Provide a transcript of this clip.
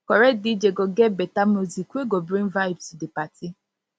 correct dj go get beta music wey go bring vibes to di party